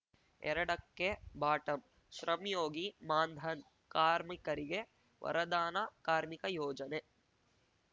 ಎರಡಕ್ಕೆಬಾಟಂ ಶ್ರಮ್‌ಯೋಗಿ ಮಾನ್‌ಧನ್‌ ಕಾರ್ಮಿಕರಿಗೆ ವರದಾನ ಕಾರ್ಮಿಕ ಯೋಜನೆ